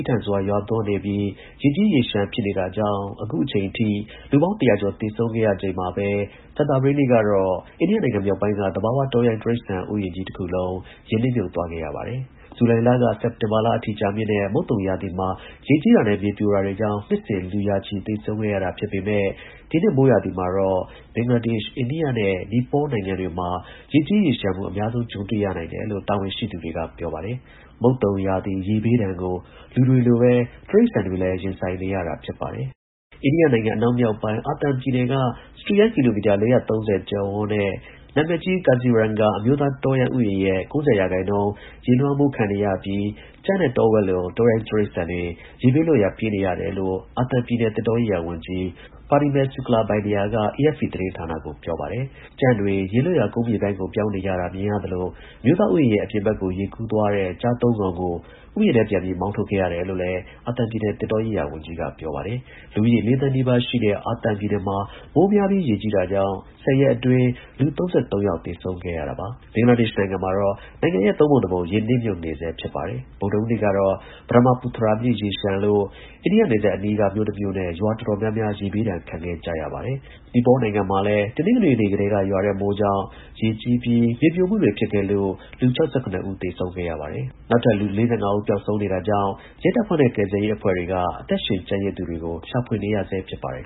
းထန်စွာ ရွာသွန်းနေပြီး ရေကြီးရေလျှံဖြစ်နေတာကြောင့် အခုအချိန်အထိ လူပေါင်း တရာကျော် သေဆုံးခဲ့ရချိန်မှာပဲ ကြာသပတေးနေ့ကတော့ အိန္ဒိယနိုင်ငံ မြောက်ပိုင်းက သဘာဝ တောရိုင်း ဥယျာဉ်ကြီး တစ်ခုလုံး ရေနစ် မြုပ်သွားခဲ့ရပါတယ်။ ဇူလိုင်က စက်တင်ဘာလအထိကြာမြင့်တဲ့ မုတ်သုံ ရာသီမှာ ရေကြီးတာနဲ့ မြေပြိုတာတွေကြောင့် နှစ်စဉ် လူ ရာချီ သေဆုံးရတာ ဖြစ် ပေမဲ့ ဒီနှစ်မိုးရာသီမှာတော့ ဘင်္ဂလားဒေ့ရှ်၊ အိန္ဒိယနဲ့နီပေါနိုင်ငံတွေမှာ ရေကြီးရေလျှံမှု အများဆုံး ကြုံတွေ့ ရနိုင်တယ်လို့ တာဝန်ရှိသူတွေ က ပြောပါတယ်။ မုတ်သုံရာသီ ရေဘေးဒဏ်ကို လူတွေလိုပဲတိရစ္ဆာန်တွေလည်း ရင်ဆိုင်နေရတာဖြစ်ပါတယ်။ အိန္ဒိယအနောက်မြောက်ပိုင်း အာသံ ပြည်နယ်က စတုရန်းကီလိုမီတာ ၄၃၀ကျယ်ဝန်းတဲ့ နာမည်ကြီး Kaziranga အမျိုးသားတောရိုင်းဥယျာဉ်ရဲ့ ၉၀ရာခိုင်နှုန်းရေလွှမ်းမိုး နေပြီး ကြံ့နဲ့ တောဝက်လို တောရိုင်းတိရစ္ဆာန်တွေ ရေဘေးလွတ်ရာပြေးနေရတယ်လို့ အာသံပြည်နယ် သစ်တောရေးရာဝန်ကြီး Parimal Suklabaidya က AFP သတင်းကို ပြောပါတယ်။ ကြံ့တွေ ရေလွတ်ရာ ကုန်းမြေပိုင်းကို ပြောင်းနေကြတာ မြင်ရသလို အမျိုးသား ဥယျာဉ်ရဲ့ အပြင်ဘက်ကို ရေကူးသွားတဲ့ ကျား သုံးကောင်ကို ဥယျာဉ်ထဲ ပြန်ပြီးမောင်းထုတ်ခဲ့ရတယ်လို့လည်း အာသံပြည်နယ် သစ်တောရေးရာ ဝန်ကြီး ပြောပါတယ်။ လူဦးရေလေးသန်း နီးပါးရှိတဲ့ အာသံပြည်နယ်မှာ မိုးများပြီး ရေကြီးတာကြောင့်၁၀ ရက်အတွင်း လူ ၃၃ ယောက် သေဆုံးခဲ့ရတာပါ။ ဘင်္ဂလားဒေ့ရှ်နိုင်ငံမှာတော့ နိုင်ငံရဲ့ ၃ ပုံ ၁ ပုံ ရေမြုပ်နေဆဲဖြစ်ပါတယ်။ ဗုဒ္ဓဟူးနေ့ကတော့ Brahmaputra မြစ်ရေလျှံလို့ အိန္ဒိယ နယ်စပ်အနားက မြို့ တစ်မြို့နဲ့ ရွာတော်တော်များများ ရေဘေးဒဏ် ခံကြရပါတယ်။ နီပေါနိုင်ငံမှာလည်း တနင်္ဂနွေနေ့ကတည်းက ရွာတဲ့မိုးကြောင့် ရေကြီး မြေပြိုမှုတွေဖြစ်ခဲ့လို့ လူ ၆၇ ဦး သေဆုံးခဲ့ရပါတယ်။ နောက်ထပ် လူ ၄၅ ဦး ပျောက်ဆုံး နေတာကြောင့် ရဲတပ်ဖွဲ့နဲ့ ကယ်ဆယ်ရေးအဖွဲ့တွေက အသက်ရှင်ကျန်ရစ်သူတွေကို ရှာဖွေနေရဆဲ ဖြစ်ပါတယ်